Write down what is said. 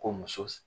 Ko muso